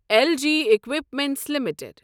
L G equipments limited